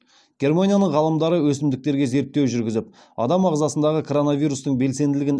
германияның ғалымдары өсімдіктерге зерттеу жүргізіп адам ағзасындағы коронавирустың белсенділігін